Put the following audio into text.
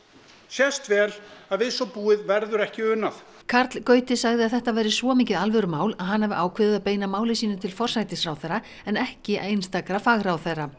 sést vel að við svo búið verður ekki unað karl Gauti sagði að þetta væri svo mikið alvörumál að hann hafi ákveðið að beina máli sínu til forsætisráðherra en ekki einstakra fagráðherra